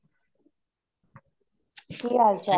ਕੀ ਹਾਲ ਚਾਲ ਏ